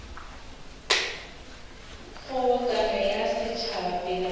kgobokano ya setšhaba pele ga